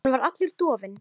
Hann var allur dofinn.